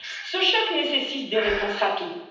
Ce choc nécessite des réponses rapides.